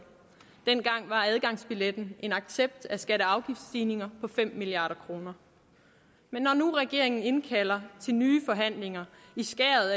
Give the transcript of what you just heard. dengang var adgangsbilletten en accept af skatte og afgiftsstigninger på fem milliard kroner men når nu regeringen indkalder til nye forhandlinger i skæret